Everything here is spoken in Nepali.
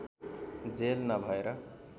जेल नभएर